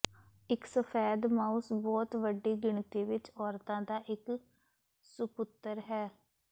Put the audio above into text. ਇੱਕ ਸਫੈਦ ਮਾਊਸ ਬਹੁਤ ਵੱਡੀ ਗਿਣਤੀ ਵਿੱਚ ਔਰਤਾਂ ਦਾ ਇੱਕ ਸੁਪੁੱਤਰ ਹੈ